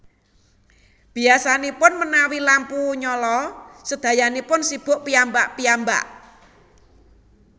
Biyasanipun menawi lampu nyala sedayanipun sibuk piyambak piyambak